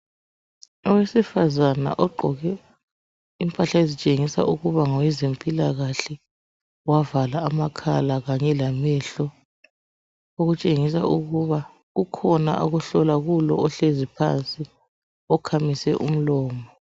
Owesifazana ogqoke impahla ezitshengisa ukuba ngowezempilakahle. Wavala amakhala kanye lamehlo, Okutshengisa ukuba kukhona akuhlola kulo ohlezi phansi, okhamise umlomo.